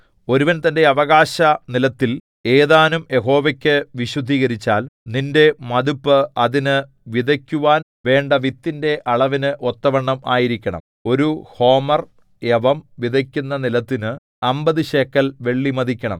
ഒരുവൻ തന്റെ അവകാശനിലത്തിൽ ഏതാനും യഹോവയ്ക്കു വിശുദ്ധീകരിച്ചാൽ നിന്റെ മതിപ്പ് അതിന് വിതയ്ക്കുവാന്‍ വേണ്ട വിത്തിന്റെ അളവിനു ഒത്തവണ്ണം ആയിരിക്കണം ഒരു ഹോമെർ യവം വിതയ്ക്കുന്ന നിലത്തിന് അമ്പത് ശേക്കെൽ വെള്ളി മതിക്കണം